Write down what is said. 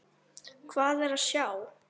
Hvað er að sjá